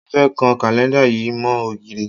Mo fẹ́ kan kàlẹ́ńdà yìí mọ́ ògiri